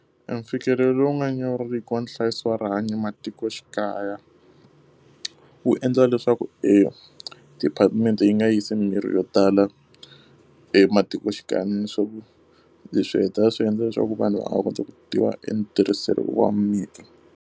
Emfikelelo lowu nga nyawuriki wa nhlayiso wa rihanyo matikoxikaya, wu endla leswaku e department-e yi nga yisi mirhi yo tala e matikoxikaya ni leswaku leswi hetelela swi endla leswaku vanhu va nga kota ku tiva etirhiso wa mirhi.